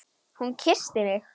Hún kyssti mig!